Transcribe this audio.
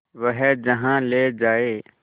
वह जहाँ ले जाए